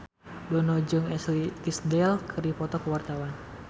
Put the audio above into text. Dono jeung Ashley Tisdale keur dipoto ku wartawan